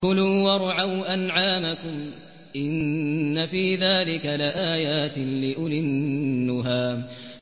كُلُوا وَارْعَوْا أَنْعَامَكُمْ ۗ إِنَّ فِي ذَٰلِكَ لَآيَاتٍ لِّأُولِي النُّهَىٰ